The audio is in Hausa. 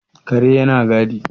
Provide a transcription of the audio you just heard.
kare yana gadi